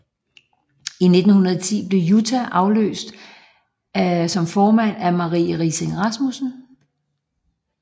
I 1910 blev Jutta afløst som formand af Marie Riising Rasmussen